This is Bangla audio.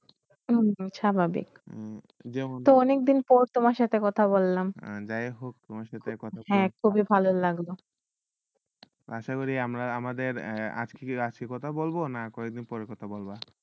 স্বাভাবিক তো অনেকদিন পর সেইট তোমাকে কথা বললাম হয়ে খুবেই ভাল লাগলো আশা করি আমাদের বেশি কথা বলব না কি একদিন পর কথা বলব